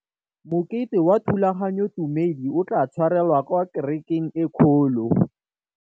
Mokete wa thulaganyôtumêdi o tla tshwarelwa kwa kerekeng e kgolo.